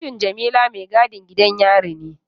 Mijin Jamila maigadin gidan yari ne.